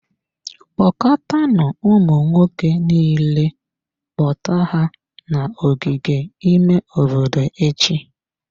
Kpọkọtanụ ụmụ nwoke niile, kpọta ha n'ogige ime obodo echi.